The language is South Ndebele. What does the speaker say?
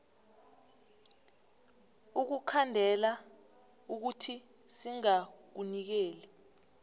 ukukhandela ukuthi singakunikeli